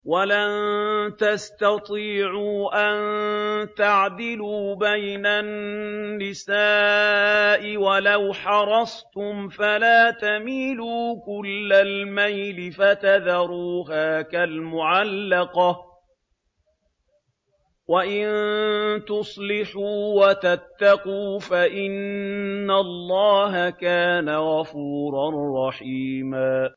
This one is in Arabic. وَلَن تَسْتَطِيعُوا أَن تَعْدِلُوا بَيْنَ النِّسَاءِ وَلَوْ حَرَصْتُمْ ۖ فَلَا تَمِيلُوا كُلَّ الْمَيْلِ فَتَذَرُوهَا كَالْمُعَلَّقَةِ ۚ وَإِن تُصْلِحُوا وَتَتَّقُوا فَإِنَّ اللَّهَ كَانَ غَفُورًا رَّحِيمًا